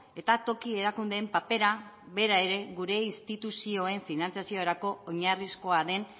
eta toki erakundeen papera bera ere gure instituzioen finantziaziorako oinarrizkoa den